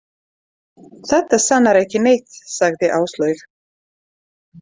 Þetta sannar ekki neitt, sagði Áslaug.